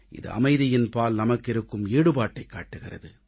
இது அமைதியின்பால் நமக்கு இருக்கும் ஈடுபாட்டைக் காட்டுகிறது